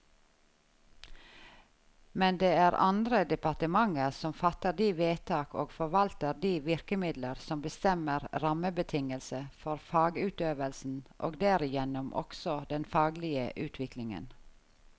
Men det er andre departementer som fatter de vedtak og forvalter de virkemidler som bestemmer rammebetingelse for fagutøvelsen og derigjennom også den faglige utviklingen.